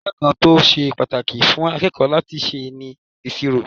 Iṣẹ́ kan tó ṣe pàtàkì fún akẹ́kọ̀ọ́ láti ṣe ni ìṣirò.